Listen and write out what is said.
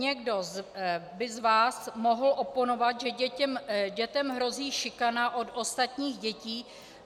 Někdo z vás by mohl oponovat, že dětem hrozí šikana od ostatních dětí.